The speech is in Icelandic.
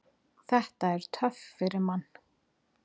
Þetta er töff fyrir mann.